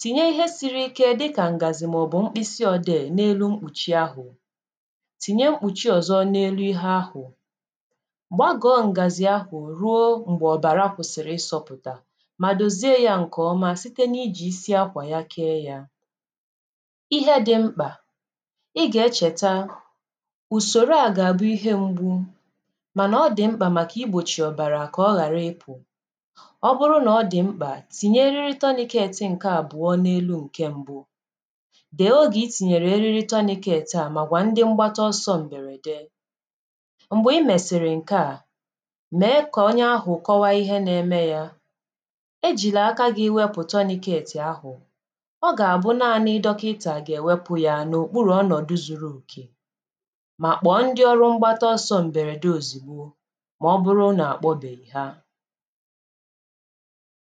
tìnye ihe siri ike dịkà ǹgàzì màọ̀bụ̀ mkpịsị ọ̀dè n’elu mkpùchì ahụ̀, tìnye mkpùchì ọ̀zọ n’elu ihe ahụ̀, gbagọ̀ ǹgàzì ahụ̀ ruo m̀gbè ọ̀bàra kwụ̀sị̀rị̀ isọ̇pụ̀tà mà dòzie ya nke ọma site n’iji isi akwà ya kee ya, ihe dị mkpà, ị gà-echèta ùsòrò à gà-àbụ ihe mgbu mànà ọ dị̀ mkpà màkà igbòchì ọ̀bàrà, ọ bụrụ nà ọ dì mkpà, tìnyè erirị tourniquet ǹke àbụ̀ọ n’elu ǹke mbụ, dèe oge ìtìnyèrè eriri tourniquet à màgwà ndi mgbata ọsọ m̀bèrède, m̀gbè i mèsìrì ǹke à, mee kà onye ahụ̀ kọwa ihe na-eme yȧ, ejila aka gi wepù tourniquet ahụ̀, ọ gà-àbụ naanị̇ dọkịntà gà-èwepu yȧ n’ùkpùrù ọnọ̀dụ zuru òkè mà kpọ̀ ndi ọrụ mgbata ọsọ m̀bèrède òzìgbo ma ọbụrụ na-akpọbeghị ha.